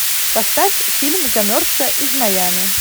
поставь фильм замерзшая из майами